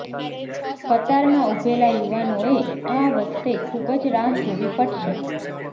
કતારમાં ઉભેલા યુવાનોએ આ વખતે ખૂબ જ રાહ જોવી પડશે